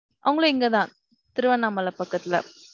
அவங்களும் இங்க தான் திருவண்ணாமலை பக்கத்துல.